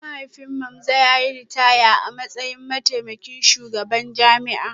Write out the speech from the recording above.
Mahaifin Mamza ya yi ritaya a matsayin mataimakin shugaban jami'a